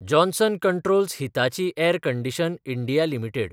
Johnson controls Hitachi air condition. India limited